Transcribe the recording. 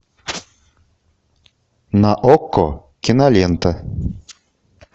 на окко кинолента